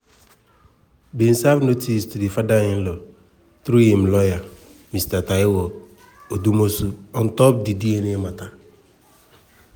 bin serve notice to di father-in-law through im laywer mr taiwo odumosu ontop di dna mata.